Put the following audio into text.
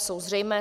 Jsou zřejmé.